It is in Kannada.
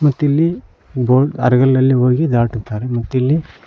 ಮತ್ತಿಲ್ಲಿ ಬೋಟ್ ಅರಗಲ್ಲಲ್ಲಿ ಹೋಗಿ ದಾಟುತ್ತಾರೆ ಮತ್ತಿಲ್ಲಿ--